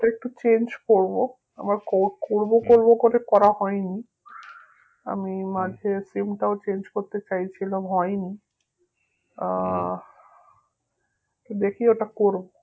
এটা একটু change করবো, আমার ক~ করবো করে করা হয়নি আমি sim টাও change করতে চেয়েছিলাম হয়নি আহ দেখি ওটা করবো